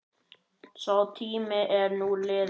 Sá tími er nú liðinn.